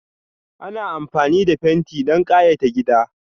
Ana amfani da fenti don kayata gida.